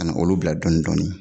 Ka na olu bila dɔɔnin dɔɔnin